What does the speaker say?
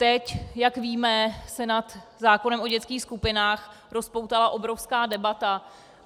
Teď, jak víme, se nad zákonem o dětských skupinách rozpoutala obrovská debata.